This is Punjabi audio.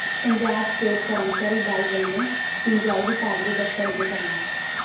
ਪੰਜਾਬ ਸਟੇਟ ਕਰਮਚਾਰੀ ਦਲ ਵੱਲੋਂ ਸਿੰਜਾਈ ਵਿਭਾਗ ਦੇ ਦਫ਼ਤਰ ਅੱਗੇ ਧਰਨਾ